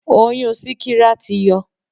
Oyún síkírá ti yọ.